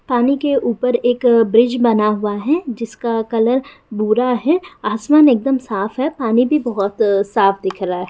पानी के ऊपर एक ब्रिज बना हुआ है जिसका कलर भूरा है आसमान एक दम साफ है पानी भी बहुत साफ दिख रहा है।